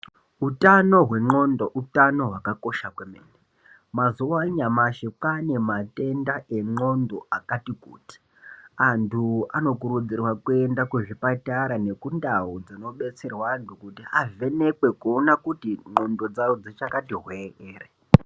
Hutano hwengonxo utano hwakakosha kwemene mazuwa anyamashi kwane matenda engonxo akati kuti antu anokurudzirwa kuenda kuzvipatara nekundau dzinobetserwa antu kuti avhenekwe ngonxo dzawo dzichakati hwe ere.